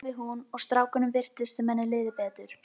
sagði hún og strákunum virtist sem henni liði betur.